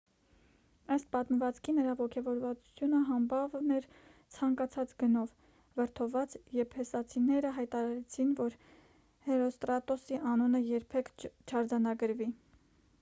ըստ պատմվածքի նրա ոգևորվածությունը համբավն էր ցանկացած գնով վրդովված եփեսացիները հայտարարեցին որ հերոստրատոսի անունը երբեք չարձանագրվի